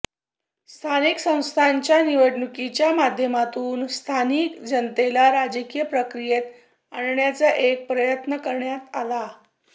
स्थानिक संस्थांच्या निवडणुकीच्या माध्यमातून स्थानिक जनतेला राजकीय प्रक्रियेत आणण्याचा एक प्रयत्न करण्यात आला